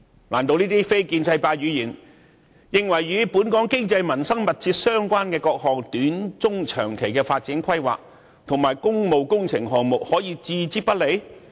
難道這些非建制派議員認為，這些與本港經濟民生關係密切的各項短、中、長期發展規劃及工務工程項目，可以置之不理嗎？